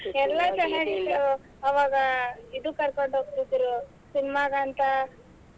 ಎಲ್ಲ ಚೆನ್ನಾಗಿತ್ತು ಅವಾಗ ಇದಕ್ ಕರ್ಕೊಂಡ್ ಹೋಗ್ತೀದ್ರು cinema ಗಂತ.